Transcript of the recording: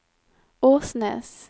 Åsnes